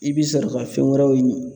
I bɛ sɔrɔ ka fɛn wɛrɛw ɲini